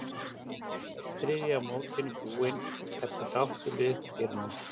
Einn þriðji af mótinu búinn, ertu sáttur við uppskeruna?